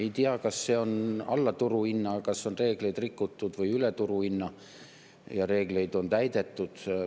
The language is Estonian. Ei tea, kas see on alla turuhinna, kas on reegleid rikutud, või üle turuhinna ja reegleid on täidetud.